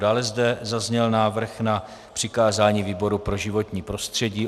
Dále zde zazněl návrh na přikázání výboru pro životní prostředí.